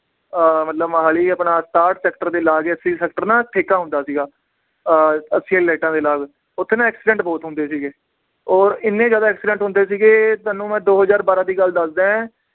ਅਹ ਮਤਲਬ ਮੋਹਾਲੀ ਆਪਣਾ ਸਤਾਹਠ sector ਦੇ ਲਾਗ ਹੀ sector ਨਾ ਠੇਕਾ ਹੁੰਦਾ ਸੀਗਾ ਅਹ ਲਾਈਟਾਂ ਦੇ ਨਾਲ ਓਥੇ ਨਾ accident ਬਹੁਤ ਹੁੰਦੇ ਸੀਗੇ ਔਰ ਇੰਨੇ ਜ਼ਿਆਦਾ accident ਹੁੰਦੇ ਸੀਗੇ ਤੁਹਾਨੂੰ ਮੈ ਦੋ ਹਜ਼ਾਰ ਬਾਰ੍ਹਾਂ ਦੀ ਗੱਲ ਦੱਸਦਾ ਏ